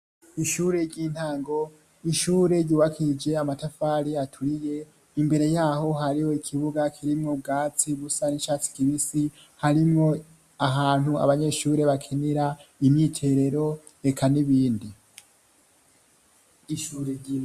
Ishure ry'intango. Ishure ryubakishije amatafari aturiye, imbere y'aho hariho ikibuga kirimwo ubwatsi busa n'icatsi kibisi, harimwo ahantu abanyeshure bakinira imyiterero, eka n'ibindi.